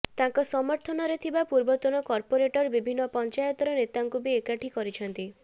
ତାଙ୍କ ସମର୍ଥନରେ ଥିବା ପୂର୍ବତନ କର୍ପୋରେଟର ବିଭିନ୍ନ ପଞ୍ଚାୟତର ନେତାଙ୍କୁ ବି ଏକାଠି କରିଛନ୍ତି